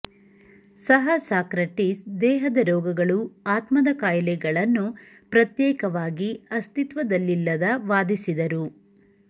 ಸಹ ಸಾಕ್ರಟೀಸ್ ದೇಹದ ರೋಗಗಳು ಆತ್ಮದ ಕಾಯಿಲೆಗಳನ್ನು ಪ್ರತ್ಯೇಕವಾಗಿ ಅಸ್ತಿತ್ವದಲ್ಲಿಲ್ಲದ ವಾದಿಸಿದರು